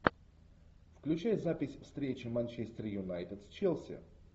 включай запись встречи манчестер юнайтед с челси